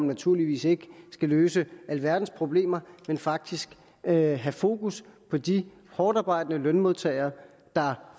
naturligvis ikke løse alverdens problemer men faktisk have have fokus på de hårdtarbejdende lønmodtagere der